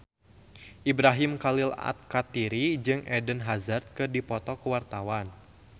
Ibrahim Khalil Alkatiri jeung Eden Hazard keur dipoto ku wartawan